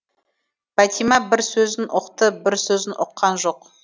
бәтима бір сөзін ұқты бір сөзін ұққан жоқ